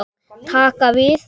Taka við?